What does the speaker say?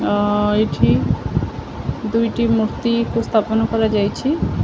ଅ ଏଠି ଦୁଇଟି ମୂର୍ତ୍ତୀକୁ ସ୍ଥାପନ କରାଯାଇଛି।